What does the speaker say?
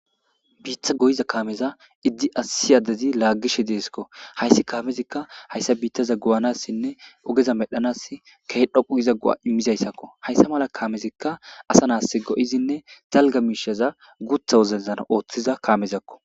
Bita goyza kameza issi adezi lagishe desko. Hays Kamezika haysa bittaza goyanasinne ogeza medhanas Keh dhoqu giza go'a imizayasako. Haysa mala kamezika asa nas go'izine dalga mishaza guutha wodezan oothiza mishazako